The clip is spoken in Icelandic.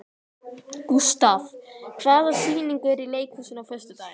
Gustav, hvaða sýningar eru í leikhúsinu á föstudaginn?